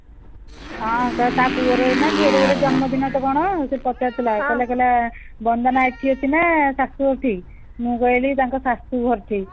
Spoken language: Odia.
ହଁ ତା ତା ପୁଅର ନା ଝିଅର ଗୋଟେ ଜନ୍ମ ଦିନ ନା କଣ ସେ ପଚାରୁଥିଲା କହିଲା କହିଲା ବନ୍ଦନା ଏଠି ଅଛି ନା ଶାଶୁ ଘରଠି ମୁଁ କହିଲି ତାଙ୍କ ଶାଶୁ ଘରଠି